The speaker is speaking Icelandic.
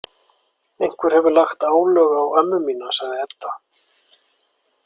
Einhver hefur lagt álög á ömmu mína, sagði Edda.